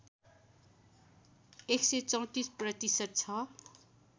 १३४ प्रतिशत छ